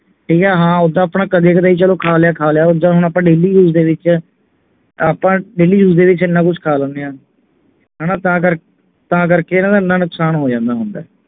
ਤੇ ਜਾ ਹਾਂ ਆਪਣਾ ਓਦਾਂ ਕਦੇ ਕਦਾਈਂ ਚਲੋ ਖਾ ਲਿਆ ਖਾ ਲਿਆ ਓਦਾਂ ਹੁਣ ਆਪਾਂ daily use ਦੇ ਵਿਚ ਆਪਾਂ daily use ਦੇ ਵਿਚ ਇੰਨਾ ਕੁਛ ਖਾ ਲੈਣੇ ਆ ਹਣਾ ਤਾ ਕਰ ਤਾਂ ਕਰਕੇ ਇੰਨਾ ਨੁਕਸਾਨ ਹੋ ਜਾਂਦੇ ਹੁੰਦਾ